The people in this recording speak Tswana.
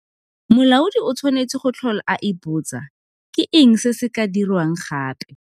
Molaodi o tshwanetse go tlhola a ipotsa, Ke eng se se ka dirwang gape?